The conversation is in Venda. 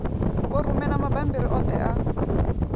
vho rumela mabammbiri oṱhe a